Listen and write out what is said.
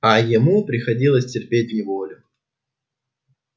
а ему приходилось терпеть неволю